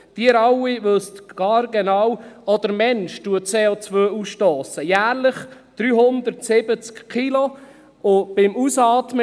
Sie alle wissen haargenau, dass auch der Mensch CO ausstösst, jährlich 370 Kilogramm beim Ausatmen.